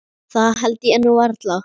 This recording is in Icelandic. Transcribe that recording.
Það held ég nú varla.